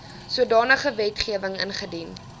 sodanige wetgewing ingedien